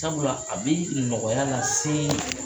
Sabula a bɛ nɔgɔya lase